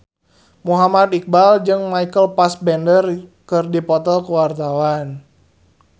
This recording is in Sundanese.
Muhammad Iqbal jeung Michael Fassbender keur dipoto ku wartawan